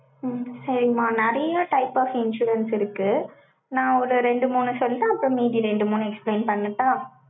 உம் சரிம்மா, நிறைய type of insurance இருக்கு. நான் ஒரு ரெண்டு, மூணு சொல்லு, அப்புறம் மீதி ரெண்டு, மூணு explain பண்ணட்டா?